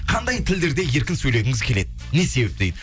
қандай тілдерде еркін сөйлегіңіз келеді не себепті дейді